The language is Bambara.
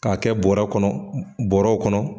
K'a kɛ bɔrɛ kɔnɔ, bɔrɛw kɔnɔ.